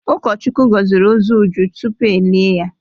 Ụkọchukwu gọziri ozu Uju tupu e lie ya.